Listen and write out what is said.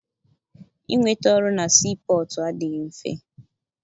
Inweta ọrụ na sii pọtụ adịghị mfe.